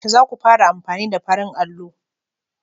Yaushe za ku fara amfani da farin allo?